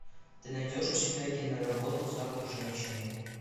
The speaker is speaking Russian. ты найдешь у себя киноработу запах женщины